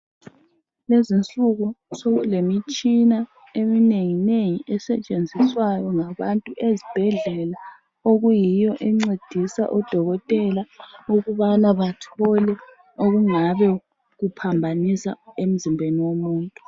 Lezinsuku sokule mitshina eminengi nengi esetshenziswayo ngabantu ezibhedlela okuyiyo encedisa odokotela ukubana bathole okungabe kuphambanisa emzimbeni womuntu.